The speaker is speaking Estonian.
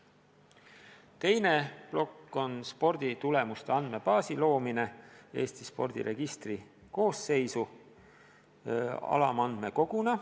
Teine plokk on sporditulemuste andmebaasi loomine Eesti spordiregistri koosseisu alamandmekoguna.